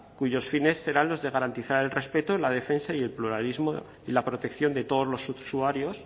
cuyos fines serán los de garantizar el respeto la defensa y el pluralismo y la protección de todos los usuarios